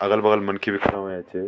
अगल बगल मनखी भी खड़ा होयां छ।